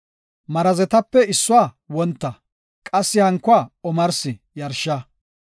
Marazetape issuwa wonta, qassi hankuwa omarsi yarsha.